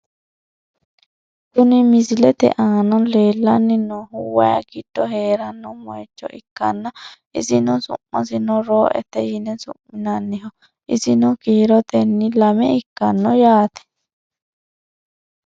Kuni misilete aana leellanni noohu wayi giddo heeranno mooyiicho ikkanna isino su'masino rooete yine su'minanniho, isino kiirotenni lame ikkanno yaate .